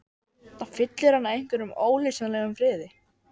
Það fyllir hana einhverjum ólýsanlegum friði.